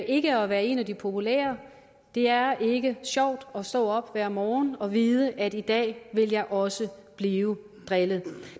ikke at være en af de populære det er ikke sjovt at stå op hver morgen og vide at i dag vil jeg også blive drillet